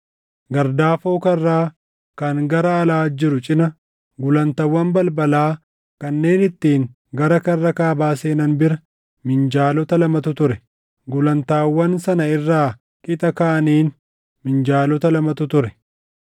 Gardaafoo karraa kan gara alaa jiru cina, gulantaawwan balbalaa kanneen ittiin gara karra kaabaa seenan bira minjaalota lamatu ture; gulantaawwan sana irraa qixa kaaniin minjaalota lamatu ture.